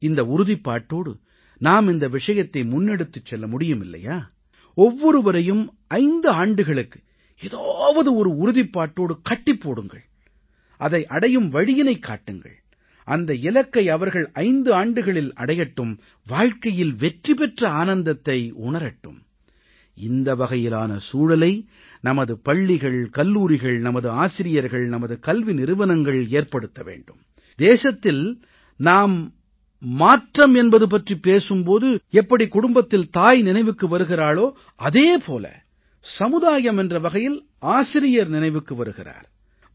இந்த உறுதிப்பாட்டோடு நாம் இந்த விஷயத்தை முன்னெடுத்துச் செல்ல முடியுமில்லையா ஒவ்வொருவரையும் 5 ஆண்டுகளுக்கு ஏதாவது ஒரு உறுதிப்பாட்டோடு கட்டிப் போடுங்கள் அதை அடையும் வழியினைக் காட்டுங்கள் அந்த இலக்கை அவர்கள் 5 ஆண்டுகளில் அடையட்டும் வாழ்க்கையில் வெற்றி பெற்ற ஆனந்தத்தை உணரட்டும் இந்த வகையிலான சூழலை நமது பள்ளிகள் கல்லூரிகள் நமது ஆசிரியர்கள் நமது கல்வி நிறுவனங்கள் ஏற்படுத்த வேண்டும் தேசத்தில் நாம் மாற்றம் என்பது பற்றிப் பேசும் பொழுது எப்படி குடும்பத்தில் தாய் நினைவுக்கு வருகிறாளோ அதே போல சமுதாயம் என்ற வகையில் ஆசிரியர் நினைவுக்கு வருகிறார்